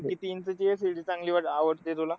किती इंचाची LCD चांगली वा आवडते तुला?